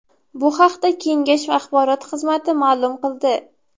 Bu haqda kengash axborot xizmati ma’lum qildi .